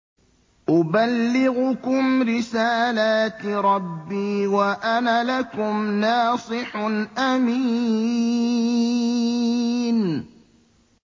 أُبَلِّغُكُمْ رِسَالَاتِ رَبِّي وَأَنَا لَكُمْ نَاصِحٌ أَمِينٌ